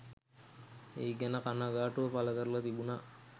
ඒ ගැන කනගාටුව පළකරලා තිබුණා.